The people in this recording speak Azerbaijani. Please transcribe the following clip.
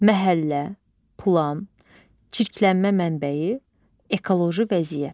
Məhəllə, plan, çirklənmə mənbəyi, ekoloji vəziyyət.